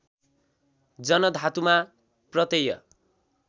जन धातुमा प्रत्यय